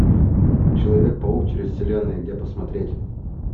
человек паук через вселенные где посмотреть